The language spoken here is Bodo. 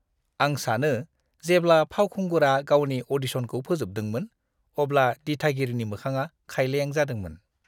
आं सानो जेब्ला फावखुंगुरा गावनि अ'डिशनखौ फोजोबदोंमोन, अब्ला दिथागिरिनि मोखाङा खायलें जादोंमोन!